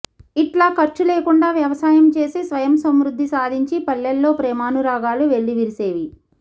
ఇట్లా ఖర్చు లేకుండా వ్యవసాయం చేసి స్వయం సమృద్ధి సాధించి పల్లెల్లో ప్రేమానురాగాలు వెల్లివిరిసేవి